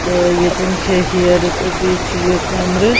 .تہٕ ییٚتٮ۪ن چھ ہیرٕ تہٕ بیٚیہِ چھ یہِ کمرٕ